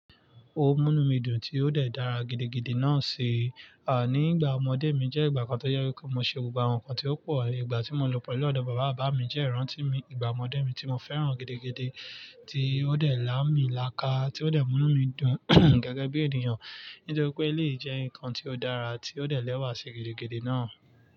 Ó múnu mí dun tí ó dẹ̀ dára gidigidi náà ṣi, nígbà ọmọdé mi jẹ́ ìgbà kan tó jẹ wipe mo ṣe gbogbo àwọn nǹkan tí ó pò, ìgbà tí mo lò pelu ọ̀dọ̀ bàbá bàbá mi jẹ́ ìran tí mi, ìgbà ọmọdé mi tí mo fẹ́ràn gidigidi tí ó dẹ̀ lámì láka, tí ó dẹ̀ múnu mí dun gẹ́gẹ́ bí ènìyàn. Nítorí pé eléyìí jẹ́ nǹkan tí ó dára tí ó dẹ̀ lẹ́wà ṣi gidigidi náà.